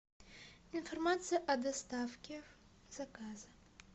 информация о доставке заказа